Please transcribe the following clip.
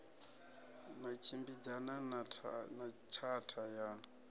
na tshimbidzana na tshatha ya